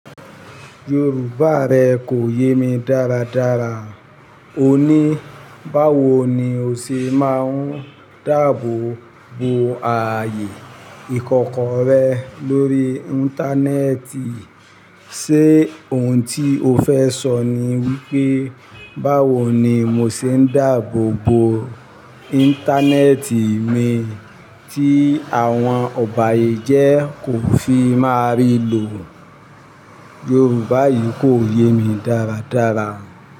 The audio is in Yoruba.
Yorùbá rẹ kò yé mi dáradára. O ní báwo ni o ṣe máa ń dáàbò bo ààyè ìkọ̀kọ̀ rẹ lórí Íńtánẹ́ẹ̀tì? Sé ohun tí o fẹ́ sọ ni wípé báwo ni mo ṣe ń dáàbò bo Íńtánẹ́ẹ̀tì mi tí àwọn ọ̀bàyéjẹ́ kò fi máa rí lò? Yorùbá yìí kò yé mi dáradára.